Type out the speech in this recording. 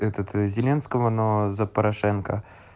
этот зеленского но за порошенко